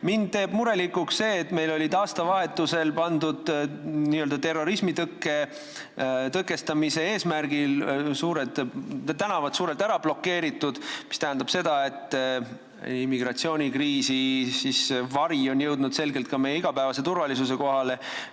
Mind teeb murelikuks see, et meil olid aastavahetusel n-ö terrorismi tõkestamise eesmärgil tänavad suurelt ära blokeeritud, mis tähendab, et immigratsioonikriisi vari on jõudnud selgelt ka meie igapäevase turvalisuse kohale.